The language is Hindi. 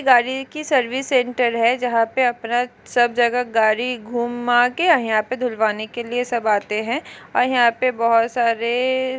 गाड़ी की सर्विस सेंटर है जहा पे अपना सब जगह गाड़ी घूमाके यहा पे धुलवाने के लिए सब आते है आ यहा पे बहुत सारे --